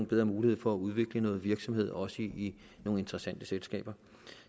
bedre mulighed for at udvikle noget virksomhed også i nogle interessante selskaber